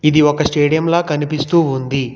ఇది ఒక స్టేడియంలా కనిపిస్తూ ఉంది.